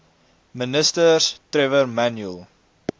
ministers trevor manuel